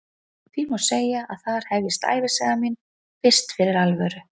Því má segja að þar hefjist ævisaga mín fyrst fyrir alvöru.